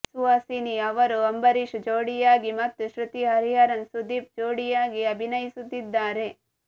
ಸುಹಾಸಿನಿ ಅವರು ಅಂಬರೀಶ್ ಜೋಡಿಯಾಗಿ ಮತ್ತು ಶೃತಿ ಹರಿಹರನ್ ಸುದೀಪ್ ಜೋಡಿಯಾಗಿ ಅಭಿನಯಿಸುತ್ತಿದ್ದಾರೆ